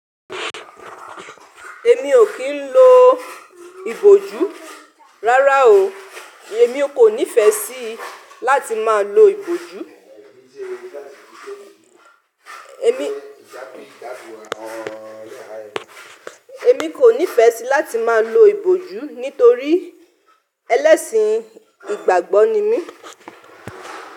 Èmi ò kì ń lo ìbòjú rárá o. Èmi kò nífẹ̀ẹ́ sí láti máa lo ìbòjú. Èmi, èmi kò nífẹ̀ẹ́ sí láti máa lo ìbòjú nítorí ẹlẹ́sìn ìgbàgbọ́ ni mí.